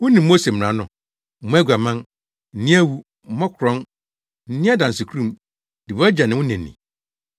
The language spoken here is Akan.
Wunim Mose mmara no: ‘Mmɔ aguaman! Nni awu! Mmɔ korɔn! Nni adansekurum! Di wʼagya ne wo na ni!’ ”